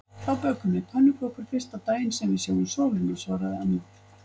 Þá bökum við pönnukökur fyrsta daginn sem við sjáum sólina svaraði amma.